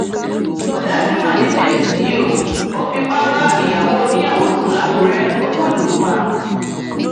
ọdájú mà ni james yìí o ò fipá bá ìyàwó oníyàwó sùn làkúrẹ ó tún lù ú pa